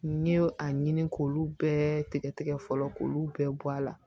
N ye a ɲini k'olu bɛɛ tigɛ tigɛ fɔlɔ k'olu bɛɛ bɔ a la